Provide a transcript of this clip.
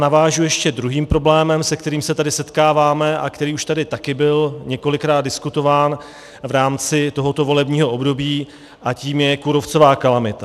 Navážu ještě druhým problémem, s kterým se tady setkáváme a který už tady taky byl několikrát diskutován v rámci tohoto volebního období, a tím je kůrovcová kalamita.